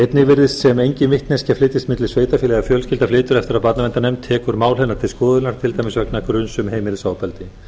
einnig virðist sem engin vitneskja flytjist milli sveitarfélaga ef fjölskylda flytur eftir að barnaverndarnefnd tekur mál hennar til skoðunar til dæmis vegna gruns um heimilisofbeldi